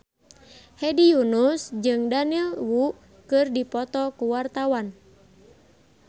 Hedi Yunus jeung Daniel Wu keur dipoto ku wartawan